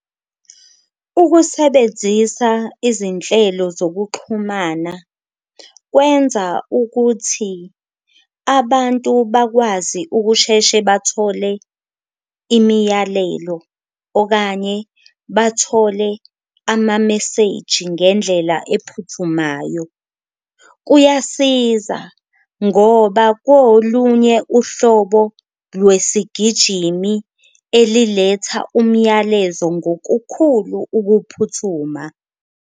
Ukusebenzisa izinhlelo zokuxhumana kwenza ukuthi abantu bakwazi ukusheshe bathole imiyalelo okanye bathole amameseji ngendlela ephuthumayo, kuyasiza ngoba kolunye uhlobo lwesigijimi eliletha umyalezo ngokukhulu ukuphuthuma.